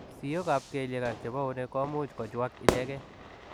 Siyok ap keliek ak chepo euneek komuuch kochuaak ichegei.